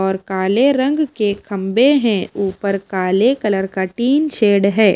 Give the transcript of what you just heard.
काले रंग के खंबे हैं ऊपर काले कलर का टीन शेड है।